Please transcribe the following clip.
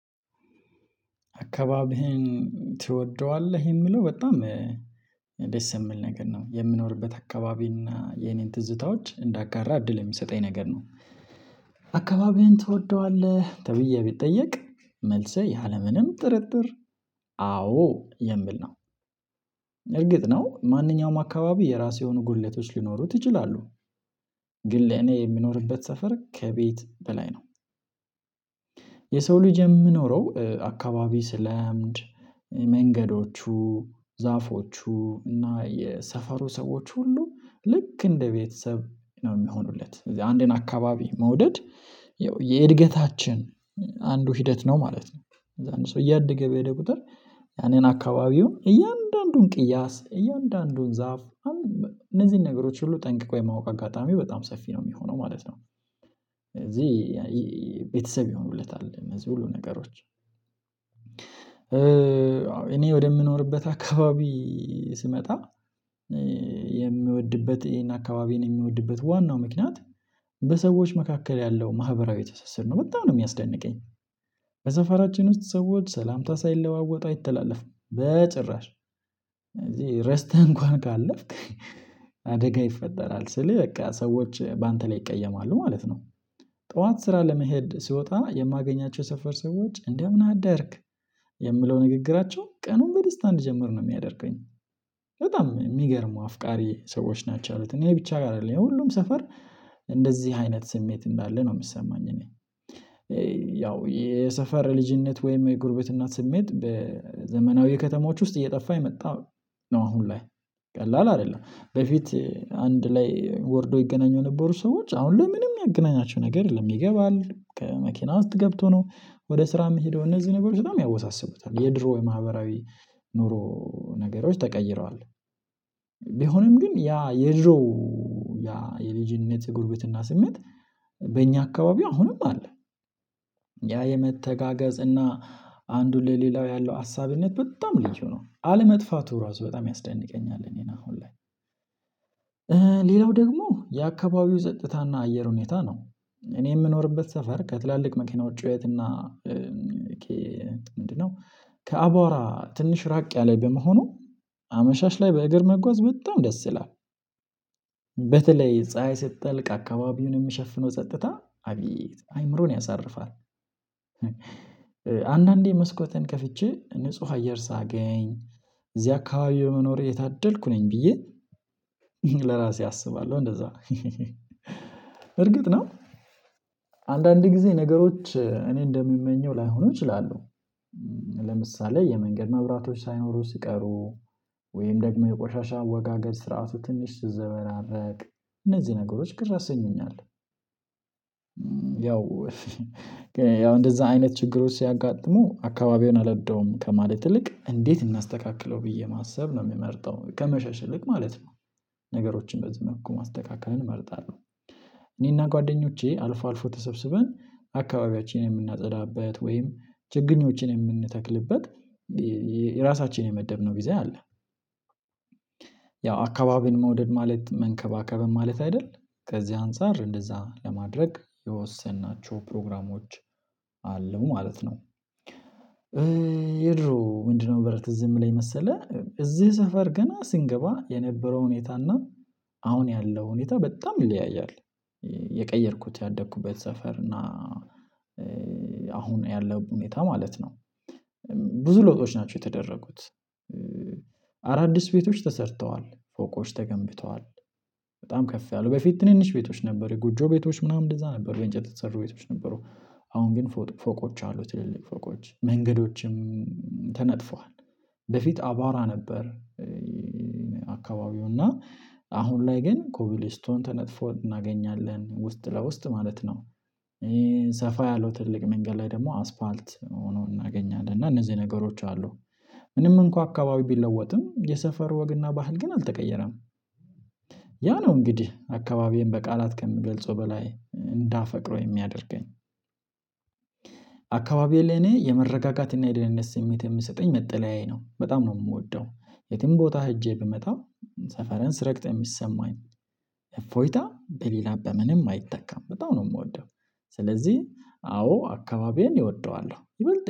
አካባቢህን ትወደዋለህ የምለው በጣም ደስ የምል ነገር ነው የምኖርበት አካባቢ እና የኔን ትዝታዎች እንዳጋራ እድል የሚሰጠኝ ነገር ነው። አካባቢዬን ትወደዋለህ ተብዬ ቢጠየቅ መልስህ ያለምንም ጥርጥር አዎ የምል ነው። እርግጥ ነው ማንኛውም አካባቢ የራሴ የሆኑ ጉድለቶች ሊኖሩ ይችላሉ። ግን ለኔ የሚኖርበት ሰፈር ከቤት በላይ ነው። ልጅ የምኖረው አካባቢ ስለ መንገዶቹ ዛፎቹ እና የሰፈሩ ሰዎች ሁሉ ልክ እንደ ቤተሰብ ነው የሚሆኑለት አንዴን አካባቢ መውደድ። የእድገታችን አንዱ ሂደት ነው ማለት ነው። እዛን ሰው እያደገ በሄደ ቁጥር ያኔን አካባቢውን እያንዳንዱን ቅያስ እያንዳንዱን ዛፍ እነዚህን ነገሮች ሁሉ ጠንቅቆ የማወቅ አጋጣሚው በጣም ሰፊ ነው የሚሆነው ማለት ነው። እዚህ ቤተሰብ ይሆኑለታል እዚህ ሁሉ ነገሮች። እኔ ወደምኖርበት አካባቢ ስመጣ የሚወድበት ይሄን አካባቢን የሚወድበት ዋናው ምክንያት በሰዎች መካከል ያለው ማህበራዊ ትስስር ነው በጣም ነው የሚያስደንቀኝ። በሰፈራችን ውስጥ ሰዎች ሰላምታ ሳይለዋወጡ አይተላለፍም በጭራሽ። ረስተህ እንኳን ካለፍክ አደጋ ይፈጠራል ስል በቃ ሰዎች በአንተ ላይ ይቀየማሉ ማለት ነው። ጠዋት ስራ ለመሄድ ስወጣ የማገኛቸው የሰፈር ሰዎች እንደምን አደርክ የምለው ንግግራቸው ቀኑን በደስታ እንድጀምር ነው የሚያደርገኝ። በጣም የሚገርሙ አፍቃሪ ሰዎች ናቸው ያሉት እኔ ብቻ ጋር አለኝ ሁሉም ሰፈር እንደዚህ አይነት ስሜት እንዳለ ነው የሚሰማኝ እኔ። ያው የሰፈር ልጅነት ወይም የጉርቤት እናት ስሜት በዘመናዊ ከተሞች ውስጥ እየጠፋ የመጣው። ነው አሁን ላይ ቀላል አይደለም በፊት አንድ ላይ ወርዶ ይገናኙ ነበሩ ሰዎች አሁን ለምንም ያገናኛቸው ነገር የለም። ይገባል ከመኪና ውስጥ ገብቶ ነው ወደ ስራ የምትሄደው እነዚህ ነገሮች በጣም ያወሳስበታል። የድሮ የማህበራዊ ኑሮ ነገሮች ተቀይረዋል። ቢሆንም ግን ያ የድሮ ያ የልጅነት ጉርብትና ስሜት በእኛ አካባቢው አሁንም አለ። ያ የመተጋገዝ እና አንዱ ለሌላው ያለው አሳቢነት በጣም ልዩ ነው አለመጥፋቱ ራሱ በጣም ያስደንቀኛል። እ ሌላው ደግሞ የአካባቢው ጸጥታ እና አየር ሁኔታ ነው። እኔ የምኖርበት ሰፈር ከትላልቅ መኪናዎች ጩኸት እና? ምንድነው ከአቧራ ትንሽ ራቅ ያለ በመሆኑ አመሻሽ ላይ በእግር መጓዝ በጣም ደስ ይላል። በተለይ ፀሀይ ስትጠልቅ አካባቢውን የሚሸፍነው ጸጥታ አቤት አይምሮን ያሳርፋል። አንዳንዴ መስኮቴን ከፍቼ ንጹህ አየር ሳገኝ እዚህ አካባቢ የመኖሬ የታደልኩ ነኝ ብዬ። ለራሴ አስባለሁ እንደዛ። እርግጥ ነው። አንዳንድ ጊዜ ነገሮች እኔ እንደምመኘው ላይሆኑ እችላለሁ። የመንገድ መብራቶች ሳይኖሩ ሲቀሩ ወይም ደግሞ የቆሻሻ አወጋገድ ስርዓቱ ትንሽ ሲዘበራረቅ እነዚህ ነገሮች ቅር ያሰኙኛል። ያው እንደዛ አይነት ችግሮች ሲያጋጥሙ አካባቢውን አላደውም ከማለት ይልቅ እንዴት? እናስተካክለው ብዬ ማሰብ ነው የምመርጠው ከመሸሽ ልክ ማለት ነው። ነገሮችን በዚህ መልኩ ማስተካክለን እመርጣለሁ። ጓደኞቼ አልፎ አልፎ ተሰብስበን አካባቢያችንን የምናጸዳበት ወይም ችግኞችን የምንተክልበት የራሳችን የመደብነው ጊዜ አለ። ያው አካባቢን መውደድ ማለት መንከባከብን ማለት አይደል? ከዚህ አንፃር እንደዛ ለማድረግ የወሰናቸው ፕሮግራሞች አሉ ማለት ነው። ግን የድሮ ምንድነው? በረት ዝም ላይ መሰለህ እዚህ ሰፈር ገና ስንገባ የነበረው ሁኔታ እና አሁን ያለው ሁኔታ በጣም ይለያያል። የቀየርኩት ያደኩበት ሰፈር እና አሁን ያለው ሁኔታ ማለት ነው። ብዙ ለውጦች ናቸው የተደረጉት። አዳዲስ ቤቶች ተሰርተዋል ፎቆች ተገንብተዋል። በጣም ከፍ ያሉ በፊት ትንንሽ ቤቶች ነበሩ ጉጆ ቤቶች ምናምን እንደዛ ነበሩ ወይ እንጨት ተሰርቦ ቤቶች ነበሩ አሁን ግን ፎቆች አሉ ትልልቅ ፎቆች መንገዶችም ተነጥፈዋል። በፊት አቧራ ነበር። አካባቢው እና አሁን ላይ ግን ኮብል ስቶን ተነጥፎ እናገኛለን ውስጥ ለውስጥ ማለት ነው። ሰፋ ያለው ትልቅ መንገድ ላይ ደግሞ አስፋልት ሆኖ እናገኛለን እና እነዚህ ነገሮች አሉ። ምንም እንኳን አካባቢ ቢለወጥም የሰፈር ወግና ባህል ግን አልተቀየረም። ነው እንግዲህ አካባቢዬን በቃላት ከምገልጸው በላይ እንዳፈቅረው የሚያደርገኝ። አካባቢ ለኔ የመረጋጋት እና የደህንነት ስሜት የምሰጠኝ መጠለያዬ ነው። በጣም ነው የምወደው የትም ቦታ ሄጄ ብመጣው ሰፈረንስ ስረግጠህ የሚሰማኝ እፎይታ በሌላ በምንም አይተካም በጣም ነው የምወደው። ስለዚህ አዎ አካባቢዬን እወደዋለሁ ይበልጥ